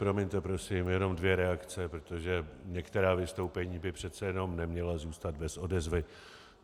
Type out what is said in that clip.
Promiňte prosím, jenom dvě reakce, protože některá vystoupení by přece jenom neměla zůstat bez odezvy.